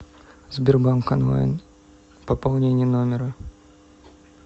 сбербанк онлайн пополнение номера